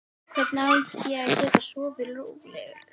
Hvernig á ég að geta sofið rólegur?